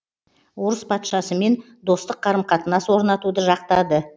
орыс патшасымен достық қарым қатынас орнатуды жақтады